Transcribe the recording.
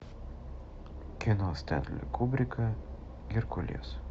кино стэнли кубрика геркулес